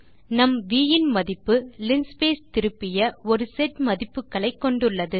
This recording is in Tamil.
நம் வி இன் மதிப்பு லின்ஸ்பேஸ் திருப்பிய ஒரு செட் மதிப்புகளை கொண்டுள்ளது